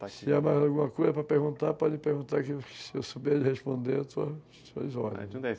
Se tiver mais alguma coisa para perguntar, pode perguntar, que se eu souber lhe responder, eu estou à suas ordens.